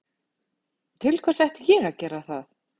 Til hvers ætti ég að gera það?